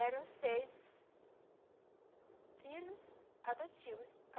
Eram seis filhos adotivos.